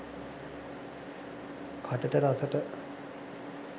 katata rasata